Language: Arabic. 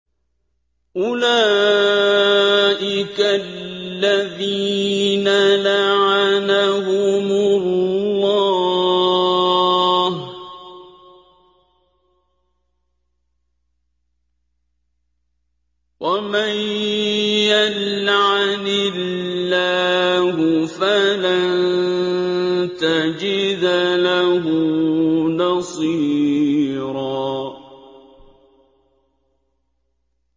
أُولَٰئِكَ الَّذِينَ لَعَنَهُمُ اللَّهُ ۖ وَمَن يَلْعَنِ اللَّهُ فَلَن تَجِدَ لَهُ نَصِيرًا